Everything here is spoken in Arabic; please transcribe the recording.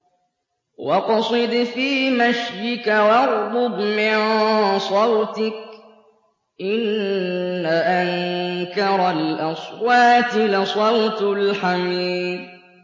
وَاقْصِدْ فِي مَشْيِكَ وَاغْضُضْ مِن صَوْتِكَ ۚ إِنَّ أَنكَرَ الْأَصْوَاتِ لَصَوْتُ الْحَمِيرِ